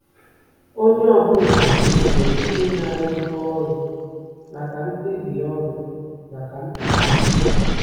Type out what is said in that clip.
Onye ọ bụla kwesịrị ịnara ibu ọrụ maka mkpebi ọrụ maka mkpebi ya?